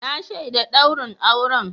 Na shaida daurin auren.